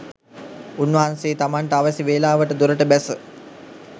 උන්වහන්සේ තමන්ට අවැසි වේලාවට දොරට බැස